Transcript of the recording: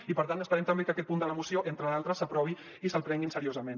i per tant esperem també que aquest punt de la moció entre d’altres s’aprovi i se’l prenguin seriosament